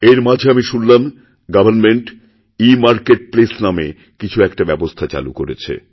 এরমাঝে আমিশুনলাম সরকার government e marketplace নামে কিছু একটা ব্যবস্থা চালু করেছে